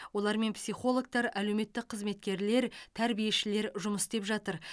олармен психологтар әлеуметтік қызметкерлер тәрбиешілер жұмыс істеп жатыр